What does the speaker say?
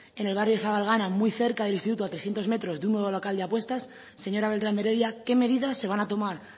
en el barrio de zabalgana muy cerca del instituto a trescientos metros de un nuevo local de apuestas señora beltrán de heredia qué medidas se van a tomar